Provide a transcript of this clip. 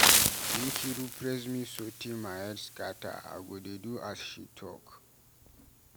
Nkiru praise me so tey my head scatter, I go dey do as she talk.